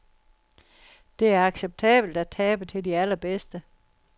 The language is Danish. Det er acceptabelt at tabe til de allerbedste.